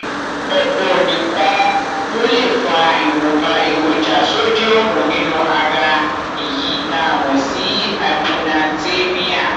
ọpọ nǹkan ló lè fa ìwọnba èròjà sódíọọmù nínú ara èyí tá a mọ sí hyponatremia